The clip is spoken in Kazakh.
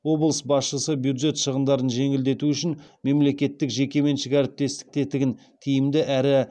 облыс басшысы бюджет шығындарын жеңілдету үшін мемлекеттік жекеменшік әріптестік тетігін тиімді әрі